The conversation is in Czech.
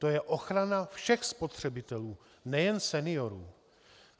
To je ochrana všech spotřebitelů, nejen seniorů.